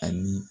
Ani